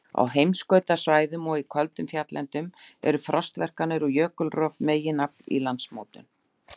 Á heimskautasvæðum og í köldum fjalllendum eru frostverkanir og jökulrof meginafl í landmótun.